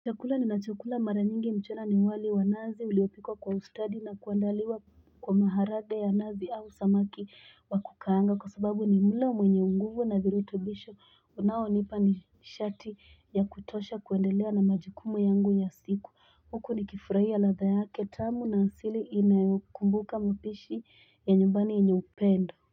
Chakula ninachokula mara nyingi mchana ni wali wa nazi uliopikwa kwa ustadi na kuandaliwa kwa maharade ya nazi au samaki wa kukaanga Kwa sababu ni mulo mwenye unguvu na viirutubisho Unaonipa nishati ya kutosha kuendelea na majukumu yangu ya siku huku nikifuraia latha yake tamu na asili inayo kumbuka mpishi ya nyubani yenye upendo.